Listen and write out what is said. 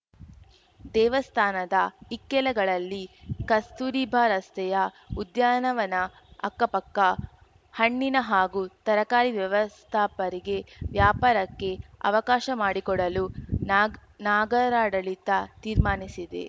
ದೇವಸ್ಥಾನದ ಇಕ್ಕೆಲಗಳಲ್ಲಿ ಕಸ್ತೂರಿಬಾ ರಸ್ತೆಯ ಉದ್ಯಾನವನ ಅಕ್ಕಪಕ್ಕ ಹಣ್ಣಿನ ಹಾಗೂ ತರಕಾರಿ ವ್ಯಾಪಾಸ್ಥಾಪರಿಗೆ ವ್ಯಾಪಾರಕ್ಕೆ ಅವಕಾಶ ಮಾಡಿಕೊಡಲು ನಾಗ್ ನಾಗರಾಡಳಿತ ತೀರ್ಮಾನಿಸಿದೆ